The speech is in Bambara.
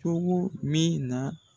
Cogo min na.